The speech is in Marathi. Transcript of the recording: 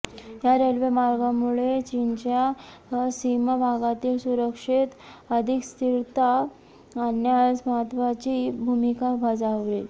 या रेल्वे मार्गामुळे चीनच्या सीमा भागातील सुरक्षेत अधिक स्थिरता आणण्यास महत्त्वाची भूमिका बजावेल